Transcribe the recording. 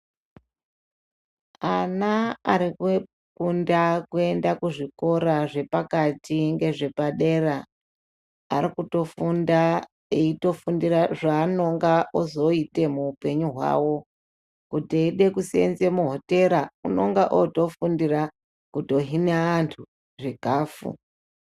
Ana arikukunda kuenda kuzvikora zvepakati ngezvepadera. Arikutofunda eitofundira zvanonga ozoite muupenyu hwawo. Kuti eide kusenze muhotera unongaotofundira kutohine antu zvikafu.